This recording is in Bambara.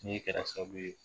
Min kɛra sababu ye